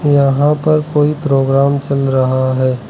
यहां पर कोई प्रोग्राम चल रहा है।